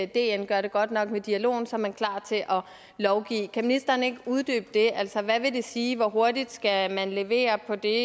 dn gør det godt nok med dialogen så er man klar til at lovgive kan ministeren ikke uddybe det altså hvad vil det sige hvor hurtigt skal man levere på det